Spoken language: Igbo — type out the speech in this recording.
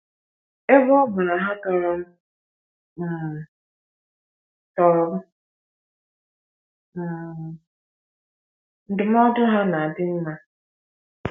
Ebe ọ bụ na ha tọrọ m um tọrọ m um, ndụmọdụ ha na - adị mma.